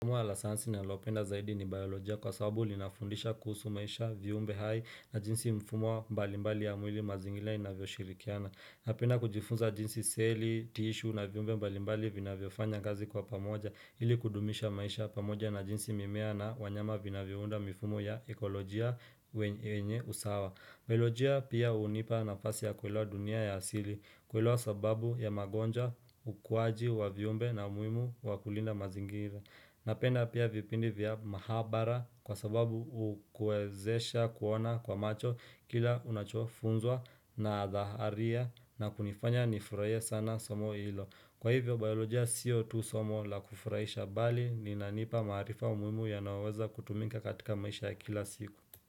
Somo la sayansi nalopenda zaidi ni biolojia kwa sababu linafundisha kuhusu maisha, viyumbe hai na jinsi mfumo mbalimbali ya mwili, mazingira inavyoshirikiana. Napenda kujifunza jinsi seli, tishu na viumbe mbalimbali vinavyofanya kazi kwa pamoja ili kudumisha maisha pamoja na jinsi mimea na wanyama vinavyounda mifumo ya ekolojia yenye usawa. Biolojia pia hunipa nafasi ya kuelewa dunia ya asili, kuelewa sababu ya magonjwa, ukwaji wa viumbe na umuhimu wa kulinda mazingira. Napenda pia vipindi vya mahabara kwa sababu hukuwezesha kuona kwa macho kila unachofunzwa na dhaharia na kunifanya nifurahie sana somo ilo. Kwa hivyo, biolojia sio tu somo la kufurahisha bali linanipa maarifa muhimu yanayoweza kutumika katika maisha ya kila siku.